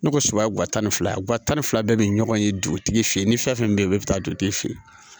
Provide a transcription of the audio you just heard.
Ne ko sogo guwa tan ni fila guwa tan ni fila bɛɛ bɛ ɲɔgɔn ye dugutigi fɛ ye ni fɛn fɛn bɛ yen bɛɛ bɛ taa dugutigi fɛ yen